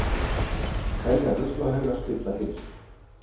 Telja ruslahauga spilla heilsu